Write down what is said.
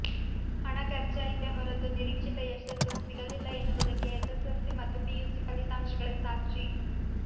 ಹಣ ಖರ್ಚಾಯಿತೇ ಹೊರತು ನಿರೀಕ್ಷಿತ ಯಶಸ್ಸು ಸಿಗಲಿಲ್ಲ ಎನ್ನುವುದಕ್ಕೆ ಎಸ್ಸೆಸೆಲ್ಸಿ ಮತ್ತು ಪಿಯುಸಿ ಫಲಿತಾಂಶಗಳೇ ಸಾಕ್ಷಿ